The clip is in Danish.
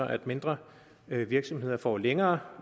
at mindre virksomheder får længere